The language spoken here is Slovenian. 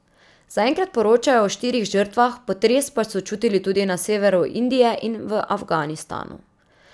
Zaenkrat poročajo o štirih žrtvah, potres pa so čutili tudi na severu Indije in v Afganistanu.